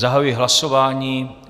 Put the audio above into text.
Zahajuji hlasování.